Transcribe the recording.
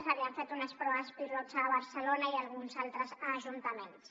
s’havien fet unes proves pilot a barcelona i a alguns altres ajuntaments